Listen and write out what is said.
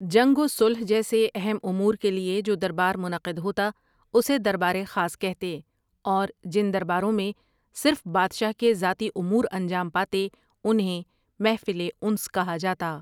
جنگ و صلح جیسے اہم امور کے لیے جو دربار منعقد ہوتا اسے دربار خاص کہتے، اورجن درباروں میں صرف بادشاہ کے ذاتی امور انجام پاتے انہیں محفل انس کہا جاتا۔